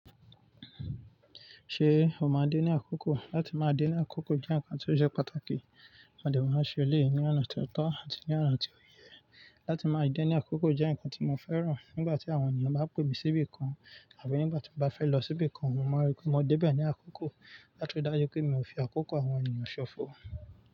Ṣé o máa dé ní àkókò? Látí máa dé ní àkókò jẹ́ ǹkan tó jẹ́ pàtàkì. A de ma máa ṣe eleyii ní ọ̀nà tó tọ́ àti ní ọ̀nà tí ó yẹ. Látí máa dé ní àkókò jẹ́ ǹkan tí mo fẹ́ràn. Nígbà tí àwọn ènìyàn bá pè mí síbí kan àbí nígbà tí mo bá fẹ́ lọ síbí kan, wọ́n máa rí pé mo dé bẹ́ẹ̀ ní àkókò. Láti ri dájú pé mi ò fi àkókò àwọn ènìyàn ṣọ̀fọ̀.